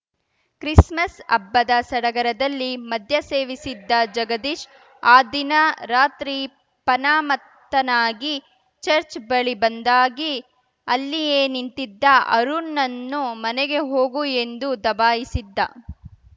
Christmas ಹಬ್ಬದ ಸಡಗರದಲ್ಲಿ ಮದ್ಯ ಸೇವಿಸಿದ್ದ ಜಗದೀಶ್‌ ಆ ದಿನ ರಾತ್ರಿ ಪನಮತ್ತನಾಗಿ ಚರ್ಚ್ ಬಳಿ ಬಂದಾಗಿ ಅಲ್ಲಿಯೇ ನಿಂತಿದ್ದ ಅರುಣ್‌ನನ್ನು ಮನೆಗೆ ಹೋಗು ಎಂದು ದಬಾಯಿಸಿದ್ದ